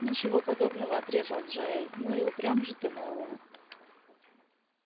ничего подобного отрезал джаэль ну и упрям же ты мэллоу